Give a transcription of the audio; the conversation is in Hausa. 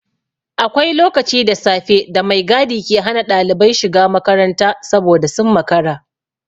Akwai lokaci da safe da mai gadi ke hana ɗalibai shiga makaranta saboda sun makara.